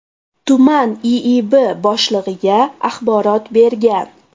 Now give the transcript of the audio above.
tuman IIB boshlig‘iga axborot bergan.